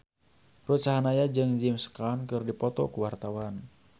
Ruth Sahanaya jeung James Caan keur dipoto ku wartawan